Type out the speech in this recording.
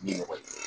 Bi ɲɔgɔn ye